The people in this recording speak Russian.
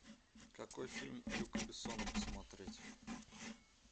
какой фильм люка бессона посмотреть